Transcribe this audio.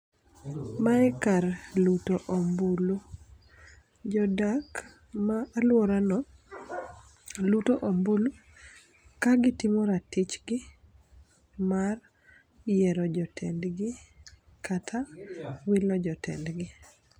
Mae kar luto ombulu. Jo dak ma alwora no luto ombulu kagitimo ratichgi mar yiero jotendgi, kata wilo jotendgi.